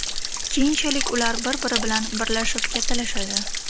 Keyinchalik ular bir-biri bilan birlashib kattalashadi.